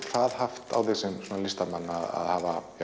það haft á þig sem listamann að hafa